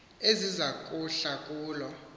eziza kuhla kulo